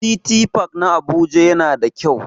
City park na Abuja yana da kyau.